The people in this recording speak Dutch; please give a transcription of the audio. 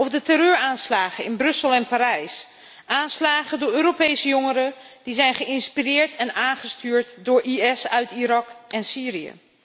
Of de terreuraanslagen in Brussel en Parijs, aanslagen door Europese jongeren die zijn geïnspireerd en aangestuurd door IS uit Irak en Syrië.